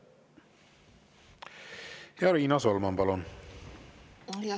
Ja Riina Solman, palun!